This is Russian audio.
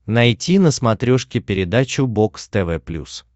найти на смотрешке передачу бокс тв плюс